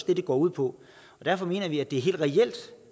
det går ud på og derfor mener vi også at det er helt reelt